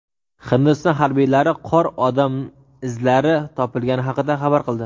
Hindiston harbiylari qor odam izlari topilgani haqida xabar qildi.